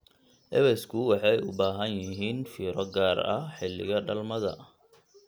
Ewesku waxay u baahan yihiin fiiro gaar ah xilliga dhalmada.